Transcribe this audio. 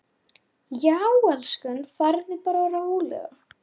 Að skilja eigið líf.